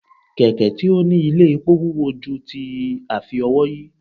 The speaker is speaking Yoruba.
kẹkẹ tí o ní ilé epó wúwo ju ti afi-ówòyí